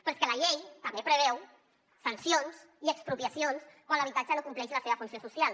però és que la llei també preveu sancions i expropiacions quan l’habitatge no compleix la seva funció social